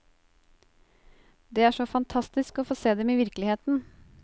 Det er så fantastisk å få se dem i virkeligheten!